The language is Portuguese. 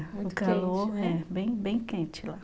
Muito calor, né, é. Bem bem quente lá.